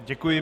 Děkuji.